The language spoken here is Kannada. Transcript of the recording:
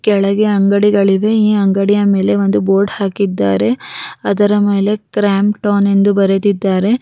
ಮತ್ತು ಟಾಟಾ ಸ್ಕೈ ಎಂದು ಬರೆದಿದ್ದಾರೆ ಈ ಅಂಗಡಿಗೆ ಹೂವಿನಿಂದ ಅಲಂಕಾರಿಸಿದ್ದಾರೆ ಇಲ್ಲಿ ಬಟ್ಟೆಗಳು ಇವೆ.